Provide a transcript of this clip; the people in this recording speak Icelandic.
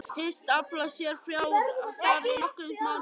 Hyggst afla sér fjár þar í nokkra mánuði.